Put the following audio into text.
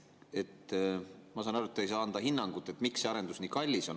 Ma saan aru, et te ei saa anda hinnangut, miks see arendus nii kallis on.